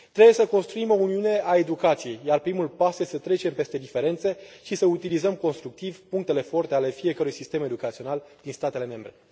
Trebuie să construim o Uniune a educației, iar primul pas este să trecem peste diferențe și să utilizăm constructiv punctele forte ale fiecărui sistem educațional din statele membre.